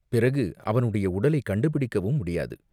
பிறகு அவனுடைய உடலைக் கண்டுபிடிக்கவும் முடியாது.